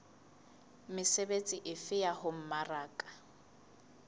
mesebetsi efe ya ho mmaraka